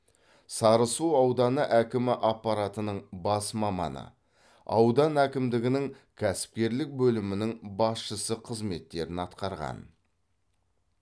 сарысу ауданы әкімі аппаратының бас маманы аудан әкімдігінің кәсіпкерлік бөлімінің басшысы қызметтерін атқарған